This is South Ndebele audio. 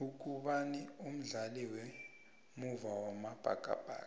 ugubani umdlali wemuva wamabhakabhaka